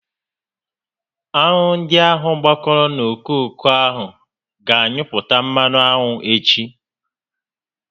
Aṅụ ndị ahụ gbakọrọ n'okooko a gá anyụpụta mmanụ aṅụ echi